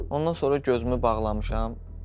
Ondan sonra gözümü bağlamışam.